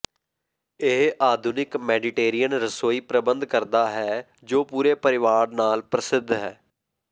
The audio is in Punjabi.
ਇਹ ਆਧੁਨਿਕ ਮੈਡੀਟੇਰੀਅਨ ਰਸੋਈ ਪ੍ਰਬੰਧ ਕਰਦਾ ਹੈ ਜੋ ਪੂਰੇ ਪਰਿਵਾਰ ਨਾਲ ਪ੍ਰਸਿੱਧ ਹੈ